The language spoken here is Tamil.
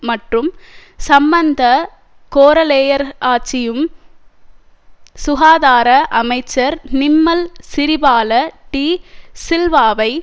மற்றும் சம்மந்த கோரலேயர் ஆட்சியும் சுகாதார அமைச்சர் நிம்மல் சிறிபால டீ சில்வாவை